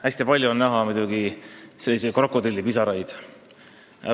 Hästi palju on näha selliseid krokodillipisaraid.